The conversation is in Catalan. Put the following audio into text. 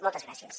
moltes gràcies